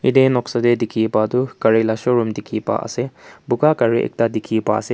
ite noksa deh dikhiwo pa tu gari la showroom dikhi pa ase buka gari ekta dikhi pai ase.